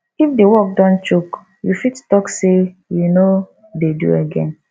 if di work don choke you fit talk sey you no dey do again